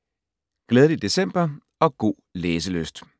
Glædelig december og god læselyst